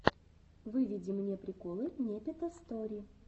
выведи мне приколы непета стори